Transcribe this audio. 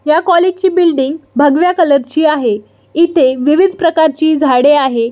ह्या कॉलेज ची बिल्डिंग भगव्या कलर ची आहे इथे विविध प्रकारची झाडे आहे.